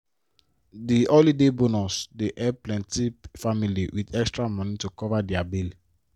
the holiday bonus dey help plenti family with extra money to cover dia bill.